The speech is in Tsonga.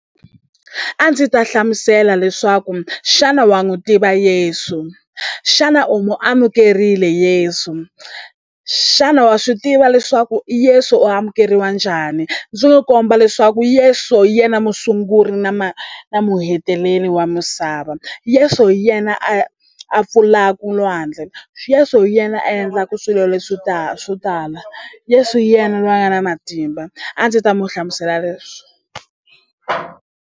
A ndzi ta hlamusela leswaku xana wa n'wu tiva Yeso xana u mu amukerile Yeso xana wa swi tiva leswaku Yeso u amukeriwa njhani ndzi n'wi komba leswaku Yeso yena musunguri na na muheteleli wa misava Yeso hi yena a a pfulaku lwandle Yeso hi yena a endlaku swilo leswi swo tala Yeso hi yena lweyi a nga na matimba a ndzi ta mu hlamusela leswo.